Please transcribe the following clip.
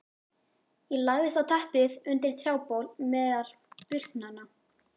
Ég lagðist á teppið undir trjábol meðal burknanna.